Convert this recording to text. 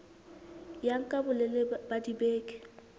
ya nka bolelele ba dibeke